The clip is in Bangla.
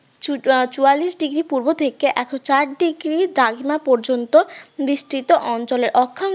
এবং চুয়াল্লিশ degree পূর্ব থেকে একশো চার degree দ্রাঘিমা পর্যন্ত বিস্তৃত অঞ্চলের অক্ষাংশ